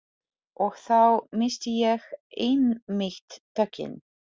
Og þá missti ég einmitt tökin.